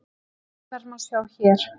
Vörurnar má sjá hér